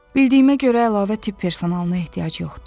Bildiyimə görə əlavə tibb personalına ehtiyac yoxdur.